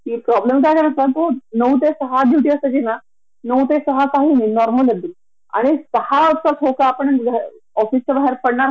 आणि बर एवढ आपण सॅंकरीफाय करून सुद्धा यांना कस कळत नाही ग की आपला पण टाइम प्रॉडक्टीव आहे वेळेचे काहीं महत्व आहे